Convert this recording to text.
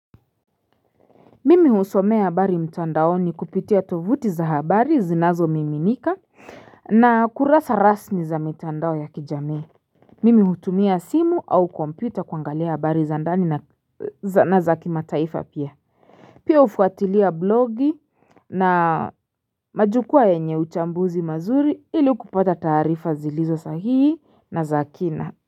Mimi husomea habari mtandaoni kupitia tovuti za habari zinazomiminika na kurasa rasmi za mitandao ya kijamii Mimi hutumia simu au kompyuta kuangalia habari za ndani na za kimataifa pia Pia hufuatilia blogi na majukwaa yenye uchambuzi mazuri ili kupata taarifa zilizo sahihi na za kina.